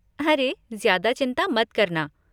अरे, ज्यादा चिंता मत करना।